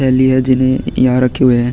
थैली है जिन्हे यहाँ रखे हुए है ।